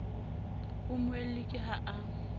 ho mmuelli ke ha a